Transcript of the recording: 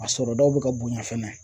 A sɔrɔ daw bɛ ka bonya fɛnɛ